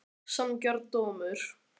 Sanngjarn dómur?